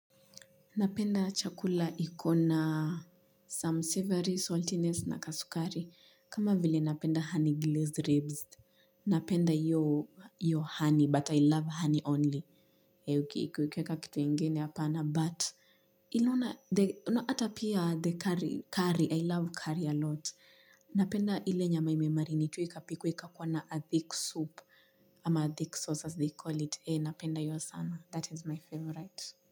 Napenda chakula ikona some savory, saltiness na kasukari. Kama vile napenda honey glazed ribs. Napenda hiyo honey, but I love honey only. Eeh, ukiweka kitu ingine hapana, but inaona, the ata pia the curry, I love curry a lot. Napenda ile nyama ime marinetiwa ika pikwa, ikakuwa na a thick soup, ama a thick sauce as they call it. Eeh, napenda hiyo sana. That is my favorite.